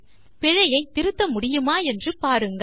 பிழையை திருத்த முடியுமா என்று பாருங்கள்